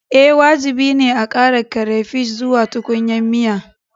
Ee, wajibi ne a ƙara crayfish zuwa tukunyar miya